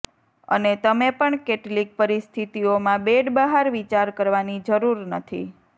અને તમે પણ કેટલીક પરિસ્થિતિઓમાં બેડ બહાર વિચાર કરવાની જરૂર નથી